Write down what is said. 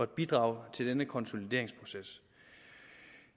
bidrage til denne konsolideringsproces